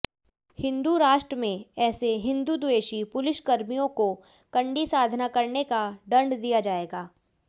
हिंदु राष्ट्रमें ऐसे हिंदुद्वेषी पुलिसकर्मियोंको कडी साधना करनेका दंड दिया जाएगा